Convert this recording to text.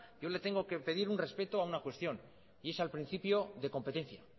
yo le tengo que pedir un respeto a una cuestión y es al principio de competencia